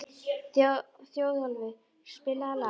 Þjóðólfur, spilaðu lag.